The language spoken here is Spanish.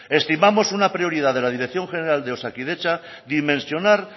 estimamos una prioridad de la dirección general de osakidetza y mencionar